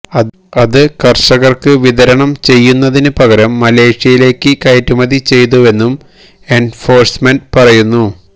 അത് കര്ഷകര്ക്ക് വിതരണം ചെയ്യുന്നതിന് പകരം മലേഷ്യയിലേക്ക് കയറ്റുമതി ചെയ്തുവെന്നും എന്ഫോഴ്സ്മെന്റ് പറയുന്നു